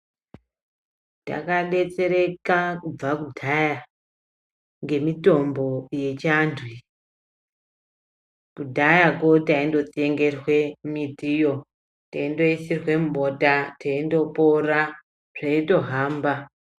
Takadetsereka kubva kudhaya ngemitombo yechiandu iyi kudhayako taingotsengerwa miti iyo teindoisirwa mubota teindopora zveitohamba.